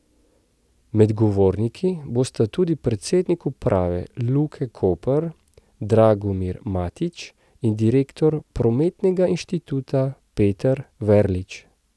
Med govorniki bosta tudi predsednik uprave Luke Koper Dragomir Matić in direktor Prometnega inštituta Peter Verlič.